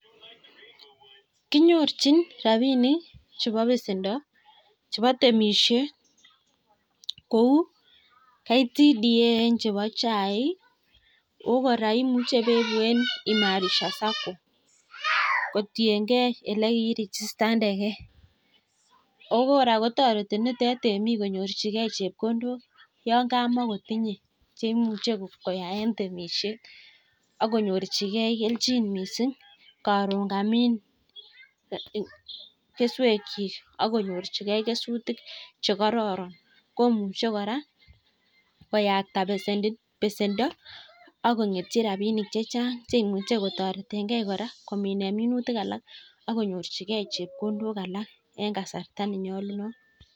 Kinyorchin rabinik chebo besendo chebo temishet kou KTDA eng chebo chaik. ako kora imuche beibu en imarisha sacco kotiengei ak ole kieregistanegei. Ako kora kotoreti nitet temik konyorchigei chepkondok yon kamakotinyei cheimuchei koyae temishet akonyorchigei keljin mising karon kamin keswekchi akonyorchikei kesutik chekororon komuchei kora koyakta besendo ak kong'etchi rapinik chechang cheimuchei kotoretengei kora komine minutik alak akonyorchigei chepkondok alak eng kasara nenyolu.